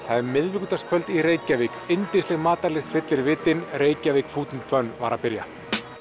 það er miðvikudagskvöld í Reykjavík yndisleg matarlykt fyllir vitin Reykjavík food and var að byrja